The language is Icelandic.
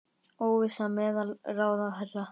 Óvissa meðal ráðherra